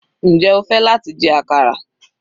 Njẹ́ o fẹ́ láti jẹ àkàrà?